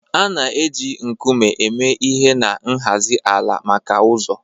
A na-eji nkume eme ihe na nhazi ala maka ụzọ